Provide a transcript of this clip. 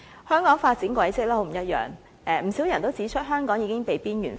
香港發展軌跡很不一樣，不少人指出香港已經被邊緣化。